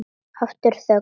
Aftur þögn.